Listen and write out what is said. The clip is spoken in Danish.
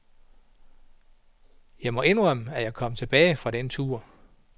Jeg må indrømme, at jeg kom tilbage fra den tur.